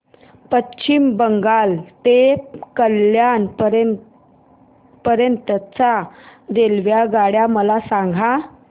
पश्चिम बंगाल ते कल्याण पर्यंत च्या रेल्वेगाड्या मला सांगा